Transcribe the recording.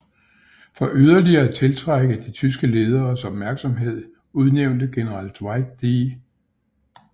For yderligere at tiltrække de tyske lederes opmærksomhed udnævnte general Dwight D